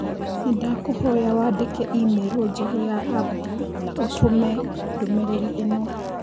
Nĩndakũhoya wandĩke i-mīrū Njerũ ya Abdi na ũtũme ndũmĩrĩri ĩno